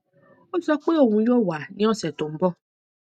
ó sọ pé òun yóò wá ní ọsẹ tó ń bọ